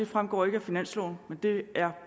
fremgår ikke af finansloven men det er